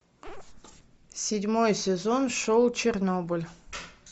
седьмой сезон шоу чернобыль